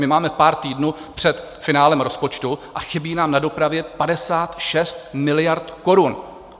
My máme pár týdnů před finále rozpočtu a chybí nám na dopravě 56 miliard korun.